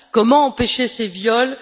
Comment empêcher ces viols?